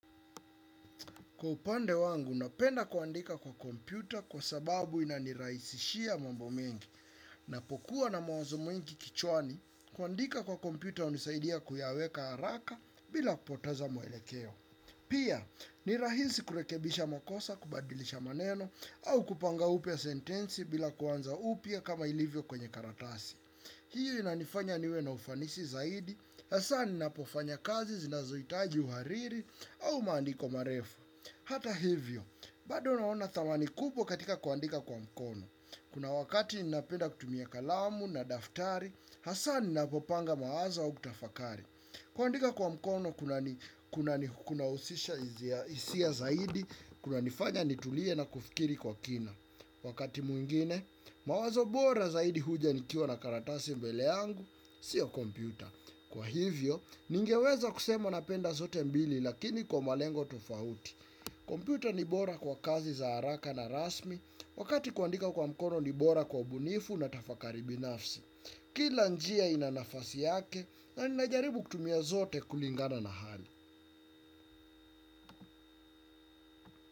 Kwa upande wangu, napenda kuandika kwa kompyuta kwa sababu inaniraisishia mambo mengi. Napokuwa na mawazo mwingi kichwani, kuandika kwa kompyuta unisaidia kuyaweka haraka bila kupoteza muelekeo. Pia, ni rahisi kurekebisha makosa kubadilisha maneno au kupanga upya sentensi bila kuanza upya kama ilivyo kwenye karatasi. Hii inanifanya niwe na ufanisi zaidi, hasa ninapofanya kazi zinazoitaji uhariri au maandiko marefu. Hata hivyo, bado naona thamani kubwaom katika kuandika kwa mkono. Kuna wakati ninapenda kutumia kalamu na daftari, hasa ninapopanga mawazo au kutafakari. Kuandika kwa mkono, kunahusisha isia zaidi, kunanifanya nitulie na kufikiri kwa kina. Wakati mwingine, mawazo bora zaidi huja nikiwa na karatasi mbele yangu, sio kompyuta. Kwa hivyo, ningeweza kusema napenda zote mbili, lakini kwa malengo tofauti. Kompyuta ni bora kwa kazi za haraka na rasmi wakati kuandika kwa mkono ni bora kwa ubunifu na tafakari binafsi. Kila njia ina nafasi yake na ninajaribu kutumia zote kulingana na hali.